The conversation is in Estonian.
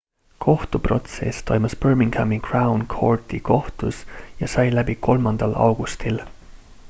kohtuprotsess toimus birminghami crown courti kohtus ja sai läbi 3 augustil